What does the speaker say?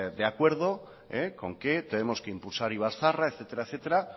de acuerdo con que tenemos que impulsar ibarzaharra etcétera